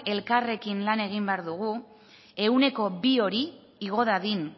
elkarrekin lan egin behar dugu ehuneko bi hori igo dadin